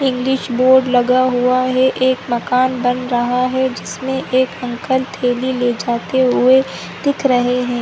English board लगा हुआ है एक मकान बन रहा है जिसमें एक अंकल थैली ले जाते हुए दिख रहे हैं।